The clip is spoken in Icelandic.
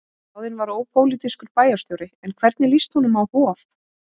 Ráðinn var ópólitískur bæjarstjóri, en hvernig líst honum á Hof?